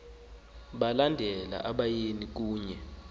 balandela abayeni kunye